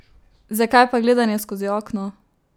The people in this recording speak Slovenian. Zakaj pa gledanje skozi okno?